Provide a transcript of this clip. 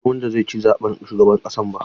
Ban san wanda zai ci zaɓen shugaban ƙasa ba.